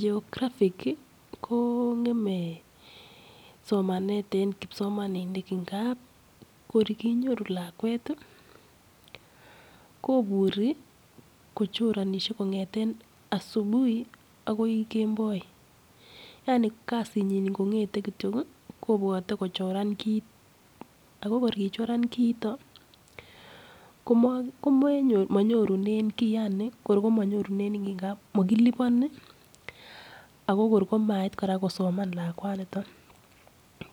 Geographic ko ng'emei somanet eng kipsomaninik, ngap kor kenyoru lakwet, koburi kochoranishei kong'ete asubuhi akoi kemboi. Yani kasinyi ngong'etei kityio, kobwatei kochoran kit ako kor kachoran kiiton, kimanyorunen kiy, makilipani ako mait kora kosoma lakwaniton.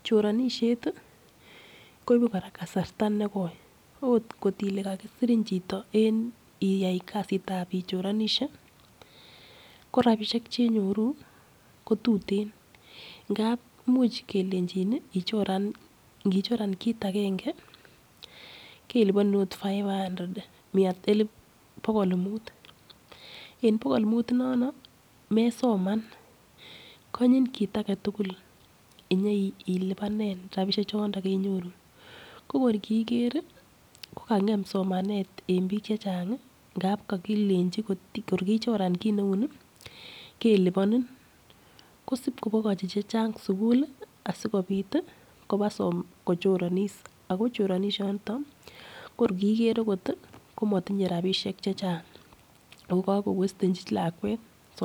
Choranishet, koibei kora kasarta nekoi, akot kot ile kakisirin chito en iyaikasitab ichoranishe, ko rapishek chenyoru, ko tuteen. Ngap much kelenchin ichoran, ngichoran kiit agenge, kelipanin akot [cs[ five hundred pokol muut. En pokol muut inondok, mesoman, kanyin kiit age tugul inye ilipanen rapushek chiton kenyoru. Ko kor kiker, ko kang'em somanet eng biik chechang ngao kakilenchinkir kechiran kut neu nii, kelipanin. Sip kopakochi che chang sukul sikobit kopa kochoronis. Ako choronishanitok, kir kiker akot, komatinyeu rapishek che chang. Ako ka ko wastenchi lakwet somanet.